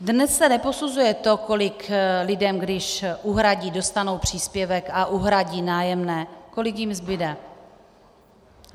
Dnes se neposuzuje to, kolik lidem, když uhradí, dostanou příspěvek a uhradí nájemné, kolik jim zbude.